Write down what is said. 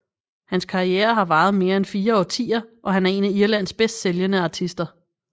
Hans karriere har varet mere end fire årtier og han er en af Irlands bedst sælgende artister